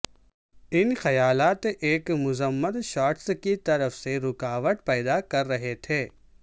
ان خیالات ایک مذمت شاٹس کی طرف سے رکاوٹ پیدا کر رہے تھے